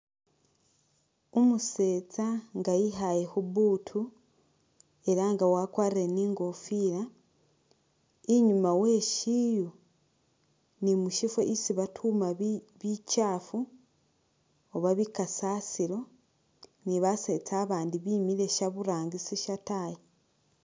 Umusetsa inga yikhaale khubuutu ela nga wakwarile ni ingofila inyuma we shiiyu ni mushifo isi batuuma bikyaafu oba bikasasilo ni basetsa abandi bemiile shaburangisi shataayi.